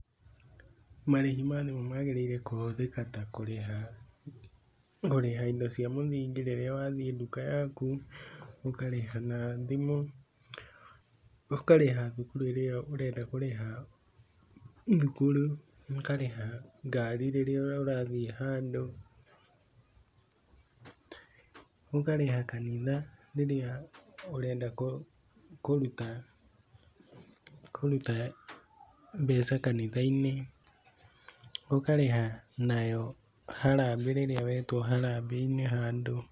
Marĩhi maya nĩmo magĩrĩire kũhũthĩka ya kũrĩha, kũrĩha indo cia mũthingi rĩrĩa wathiĩ duka yaku ũkarĩha thimũ, ũkarĩha thukuru ĩrĩa ũrenda kũrĩha thukuru, ũkarĩha ngari rĩrĩa ũrathiĩ handũ, ũkarĩha kanitha rĩrĩa ũrenda kũruta, kũruta mbeca kanitha-inĩ, ũkarĩha nayo harambee rĩrĩa wetwo harambee-inĩ handũ.